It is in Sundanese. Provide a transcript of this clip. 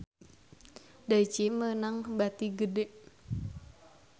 Daichi meunang bati gede